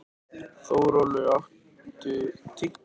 Þórólfur, áttu tyggjó?